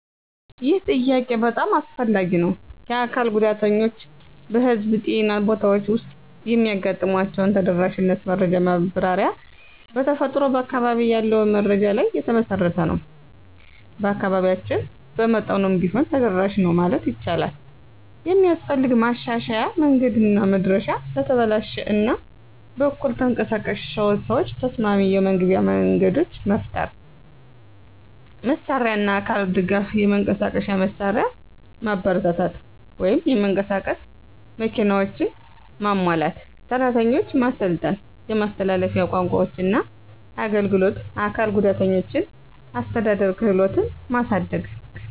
ይህ ጥያቄ በጣም አስፈላጊ ነው። የአካል ጉዳተኞች በህዝብ ጤና ቦታዎች ውስጥ የሚያጋጥሟቸውን ተደራሽነት መረጃ ማብራሪያ በተፈጥሮ በአካባቢ ያለውን መረጃ ላይ የተመሠረተ ነው። በአካባቢያችን በመጠኑም ቢሆን ተደራሽ ነው ማለት ይቻላል። የሚስፈልግ ማሻሻያ መንገድና መድረሻ ለተበላሽ እና በኩል ተንቀሳቃሽ ሰዎች ተስማሚ የመግቢያ መንገዶች መፍጠር። መሳሪያና አካል ድጋፍ የመንቀሳቀሻ መሳሪያ ማበረታታት (የመንቀሳቀስ መኪናዎች) ማሟላት። ሰራተኞች ማሰልጠን የማስተላለፊያ ቋንቋዎችና አገልግሎት አካል ጉዳተኞችን አስተዳደር ክህሎትን ማሳደግ።